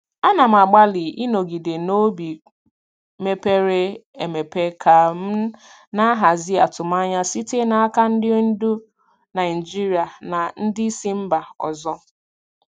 Ana m agbalị ịnọgide n'obi mepere emepe ka m na-ahazi atụmanya site n'aka ndị ndu Naịjirịa na ndị si mba ọzọ.